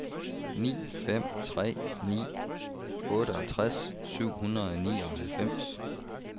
ni fem tre ni otteogtres syv hundrede og nioghalvfems